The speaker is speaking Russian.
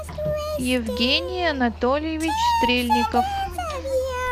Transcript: евгений анатольевич стрельников